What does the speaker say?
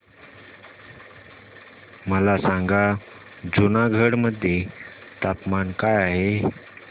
मला सांगा जुनागढ मध्ये तापमान काय आहे